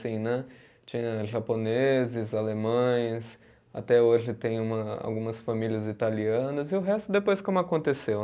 Assim, né, tinha japoneses, alemães, até hoje tem uma, algumas famílias italianas e o resto depois como aconteceu.